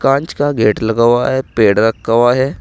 कांच का गेट लगा हुआ है पेड़ रखा हुआ है।